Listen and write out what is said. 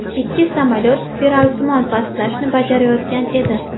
Ikki samolyot spiralsimon pastlashni bajarayotgan edi.